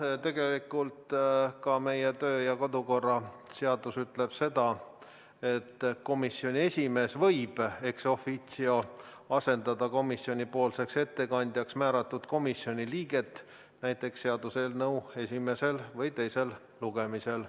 Jah, tegelikult ka meie kodu- ja töökorra seadus ütleb, et komisjoni esimees võib ex officio asendada komisjoni ettekandjaks määratud komisjoni liiget, näiteks seaduseelnõu esimesel või teisel lugemisel.